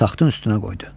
Taxtın üstünə qoydu.